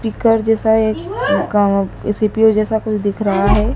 Speaker जैसा एक CPU जैसा कुछ दिख रहा है।